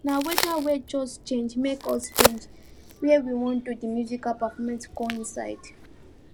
na weather wey just change make us change where we wan do the musical performance go inside